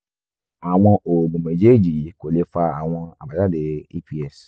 àwọn oògùn méjèèjì yìí kò lè fa àwọn àbájáde eps